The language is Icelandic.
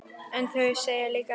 En þau segja líka annað.